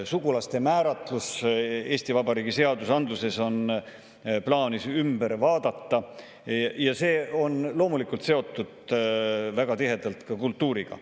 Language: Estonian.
Sugulaste määratlus Eesti Vabariigi seadustes on plaanis ümber vaadata ja see on loomulikult väga tihedalt seotud ka kultuuriga.